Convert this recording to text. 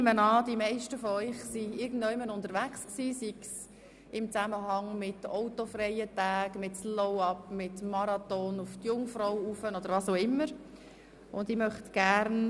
Ich nehme an, dass die meisten von Ihnen irgendwo unterwegs waren, sei es in Zusammenhang mit den autofreien Sonntagen, mit dem SlowUp, mit dem Marathon auf die Jungfrau oder mit was auch immer.